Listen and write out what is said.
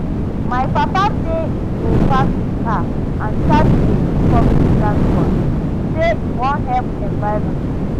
My papa say im go park im car and start to dey use public transport, say im wan help environment